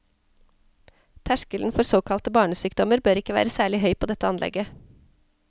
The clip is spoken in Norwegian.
Terskelen for såkalte barnesykdommer bør ikke være særlig høy på dette anlegget.